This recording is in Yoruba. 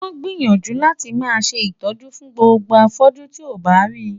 Wàá gbìyànjú láti máa ṣe ìtọ́jú fún gbogbo afọ́jú tí o bá rí.